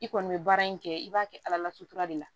I kɔni bɛ baara in kɛ i b'a kɛ ala la sutura de la